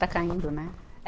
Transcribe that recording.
Está caindo, né?